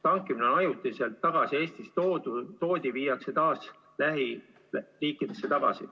Tankimine, mis ajutiselt tagasi Eestisse toodi, viiakse taas lähiriikidesse tagasi.